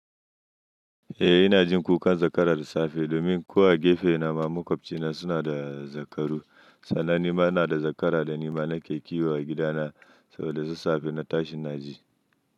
Eh ina jin kukan zakara dasafe domin ko a gefe na ma makwafcina suna da zakaru. Sannan ni ma ina da zakara da ni ma na ke kiwo a gidana so dasassafe na tashin daji.